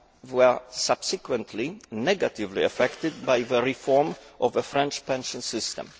and were subsequently negatively affected by the reform of the French pension system.